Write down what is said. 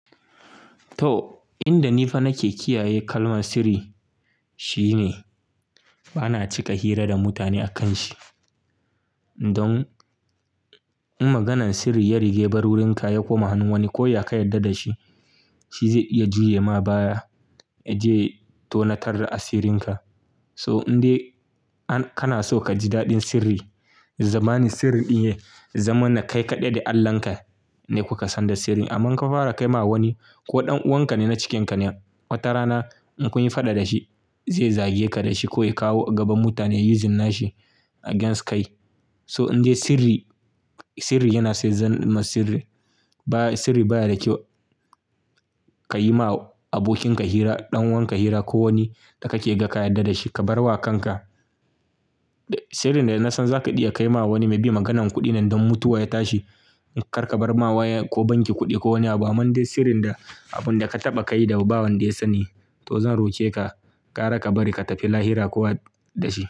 To, inda nifa nake kiyaye kalmar sirri, shine bana cika hira da mutane akanshi. Don in maganan sirri yarige yabar wurinka ya koma hannun wani ko ya kayyade dashi, shizai iya juyema baya yaje ya tonatar da asirinka. So indai kanaso kaji daɗin sirri, zamanin sirri ɗin ya yi, zamanin kai kaɗai da Allahnka ne kuka sanda sirri. Aman ka fara kai ma wani ko ɗan uwankane na cikinka ne, wata rana in kunyi faɗa dashi zai zageka dashi koya kawo a gaban mutane yayi using nashi against kai. So indai sirri, sirri yana sa zan ma sirri baya sirri bayada kyau. Kayima abokinka hira, ɗan uwanka hira ko wani da kake ga kayyada da shi, ka barwa kanka. Sirrin dana san zaka iya kaima wani may be maganan kuɗine don mutuwa ya tashi, karka barma waya ko banki kuɗi ko wani abu. Amman dai sirrin da abunda ka taɓa kaida ba wanda ya sani, to zan roke ka, ƙara ka bari ka tafi lahira kuwa dashi.